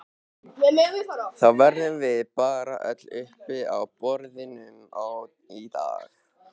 Þá verðum við bara öll uppi á borðum í dag